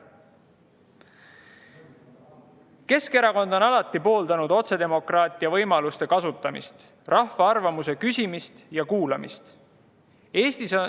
Keskerakond on alati pooldanud otsedemokraatia võimaluste kasutamist, rahva arvamuse küsimist ja kuulamist.